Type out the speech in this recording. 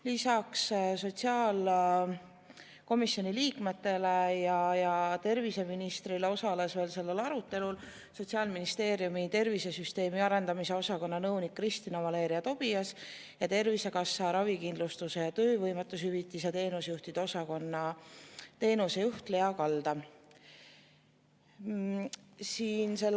Lisaks sotsiaalkomisjoni liikmetele ja terviseministrile osalesid sellel arutelul Sotsiaalministeeriumi tervisesüsteemi arendamise osakonna nõunik Kristina-Valeria Tobias ja Tervisekassa ravikindlustuse ja töövõimetushüvitiste teenusejuhtide osakonna teenusejuht Lea Kalda.